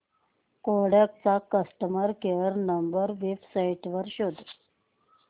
Kodak चा customer care number website वर शोध